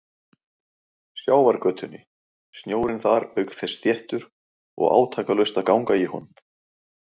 Sjávargötunni, snjórinn þar auk þess þéttur og átakalaust að ganga í honum.